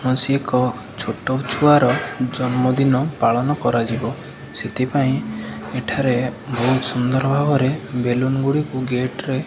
କୌଣସି ଏକ ଛୋଟ ଛୁଆର ଜନ୍ମଦିନ ପାଳନ କରାଯିବ ସେଥିପାଇଁ ଏଠାରେ ବହୁତ୍ ସୁନ୍ଦର୍ ଭାବରେ ବେଲୁନ ଗୁଡ଼ିକୁ ଗେଟ୍ ରେ --